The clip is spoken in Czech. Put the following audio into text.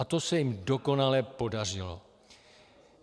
A to se jim dokonale podařilo.